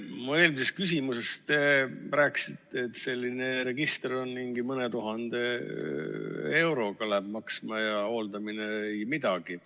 Mu eelmisele küsimusele te vastasite, et selline register läheb maksma mõni tuhat eurot ja hooldamine ei midagi.